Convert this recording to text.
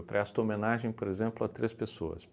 Eu presto homenagem, por exemplo, a três pessoas.